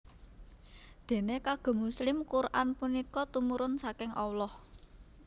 Déné kagem muslim Quran punika tumurun saking Allah